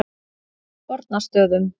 Fornastöðum